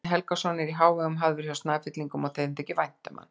Árni Helgason er í hávegum hafður hjá Snæfellingum og þeim þykir vænt um hann.